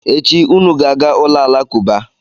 Echi unu ga-aga ụlọ alakụba!